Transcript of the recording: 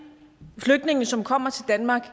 flygtninge som kommer til danmark